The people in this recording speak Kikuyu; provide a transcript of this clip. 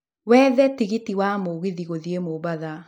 wethe tigiti wa mũgithi gũthiĩ mombatha